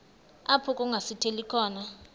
apho kungasithela khona